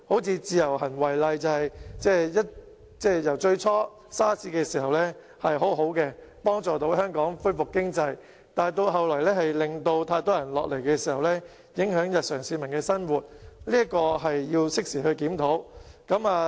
以自由行為例，最初在 SARS 的時候是很好的政策，能夠幫助香港經濟恢復，但後來由於太多人前來香港，影響了市民的日常生活，這是要適時檢討的。